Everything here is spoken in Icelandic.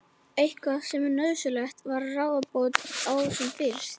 Eitthvað sem nauðsynlegt var að ráða bót á sem fyrst.